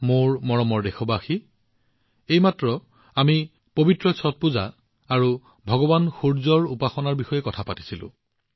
মোৰ মৰমৰ দেশবাসীসকল আমি এইমাত্ৰ পবিত্ৰ ছট পূজা ভগৱান সূৰ্যৰ উপাসনাৰ বিষয়ে কথা পাতিলো